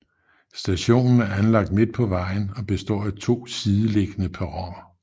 Stationen er anlagt midt på vejen og består af to sideliggende perroner